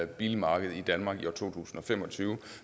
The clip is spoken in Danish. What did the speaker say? bilmarked i danmark i år to tusind og fem og tyve